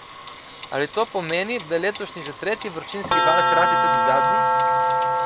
Ali to pomeni, da je letošnji že tretji vročinski val hkrati tudi zadnji?